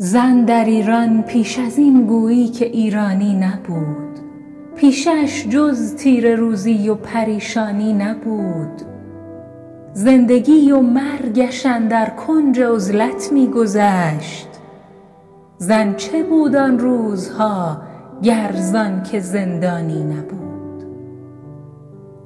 زن در ایران پیش از این گویی که ایرانی نبود پیشه اش جز تیره روزی و پریشانی نبود زندگی و مرگش اندر کنج عزلت می گذشت زن چه بود آن روزها گر زآنکه زندانی نبود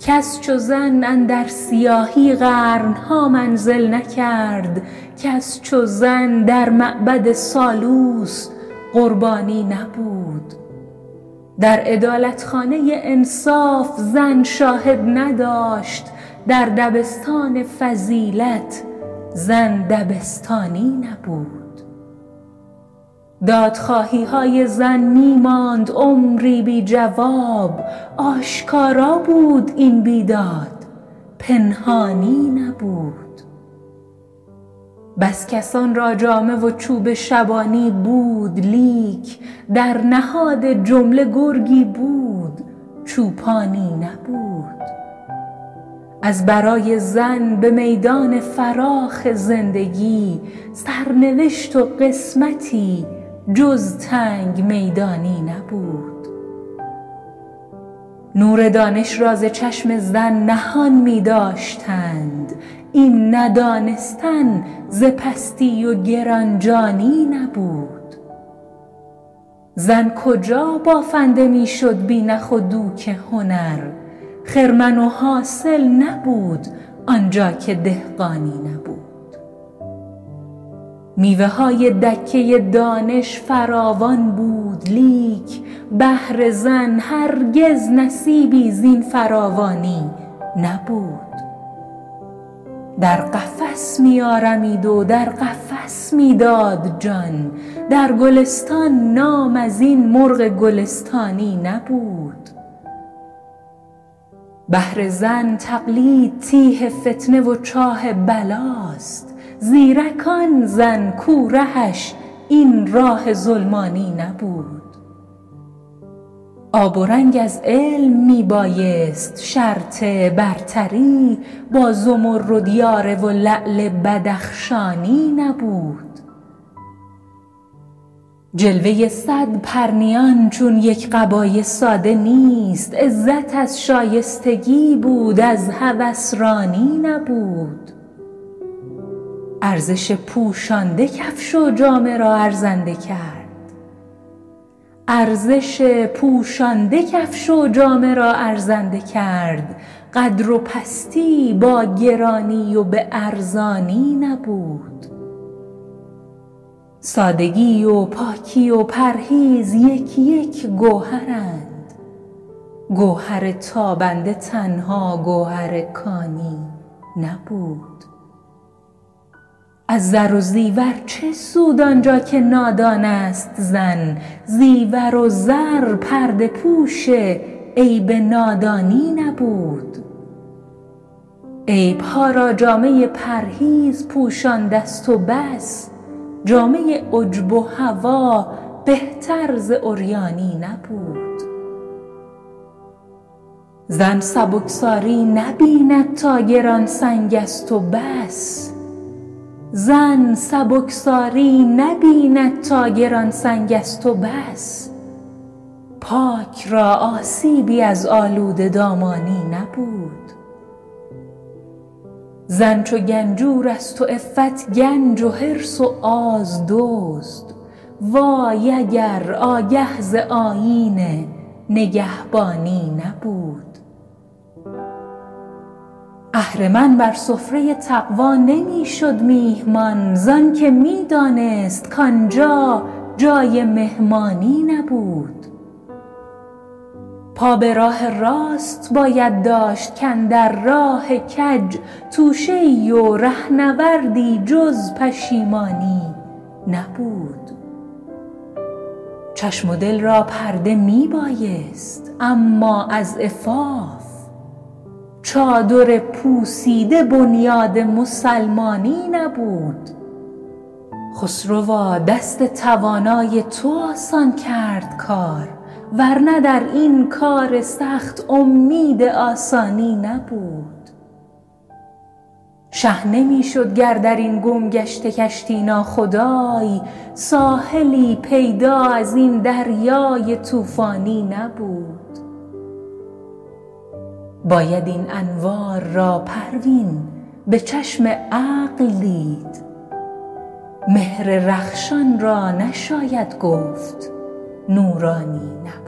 کس چو زن اندر سیاهی قرن ها منزل نکرد کس چو زن در معبد سالوس قربانی نبود در عدالت خانه انصاف زن شاهد نداشت در دبستان فضیلت زن دبستانی نبود دادخواهی های زن می ماند عمری بی جواب آشکارا بود این بیداد پنهانی نبود بس کسان را جامه و چوب شبانی بود لیک در نهاد جمله گرگی بود چوپانی نبود ازبرای زن به میدان فراخ زندگی سرنوشت و قسمتی جز تنگ میدانی نبود نور دانش را ز چشم زن نهان می داشتند این ندانستن ز پستی و گران جانی نبود زن کجا بافنده می شد بی نخ و دوک هنر خرمن و حاصل نبود آنجا که دهقانی نبود میوه های دکه دانش فراوان بود لیک بهر زن هرگز نصیبی زین فراوانی نبود در قفس می آرمید و در قفس می داد جان در گلستان نام ازین مرغ گلستانی نبود بهر زن تقلید تیه فتنه و چاه بلاست زیرک آن زن کو رهش این راه ظلمانی نبود آب و رنگ از علم می بایست شرط برتری با زمرد یاره و لعل بدخشانی نبود جلوه صد پرنیان چون یک قبای ساده نیست عزت از شایستگی بود از هوس رانی نبود ارزش پوشانده کفش و جامه را ارزنده کرد قدر و پستی با گرانی و به ارزانی نبود سادگی و پاکی و پرهیز یک یک گوهرند گوهر تابنده تنها گوهر کانی نبود از زر و زیور چه سود آنجا که نادان است زن زیور و زر پرده پوش عیب نادانی نبود عیب ها را جامه پرهیز پوشانده ست و بس جامه عجب و هوی بهتر ز عریانی نبود زن سبکساری نبیند تا گران سنگ است و بس پاک را آسیبی از آلوده دامانی نبود زن چو گنجور است و عفت گنج و حرص و آز دزد وای اگر آگه ز آیین نگهبانی نبود اهرمن بر سفره تقوی نمی شد میهمان زآنکه می دانست کآنجا جای مهمانی نبود پا به راه راست باید داشت کاندر راه کج توشه ای و رهنوردی جز پشیمانی نبود چشم و دل را پرده می بایست اما از عفاف چادر پوسیده بنیاد مسلمانی نبود خسروا دست توانای تو آسان کرد کار ورنه در این کار سخت امید آسانی نبود شه نمی شد گر در این گمگشته کشتی ناخدای ساحلی پیدا از این دریای طوفانی نبود باید این انوار را پروین به چشم عقل دید مهر رخشان را نشاید گفت نورانی نبود